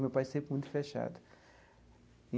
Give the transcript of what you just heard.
Meu pai é sempre muito fechado.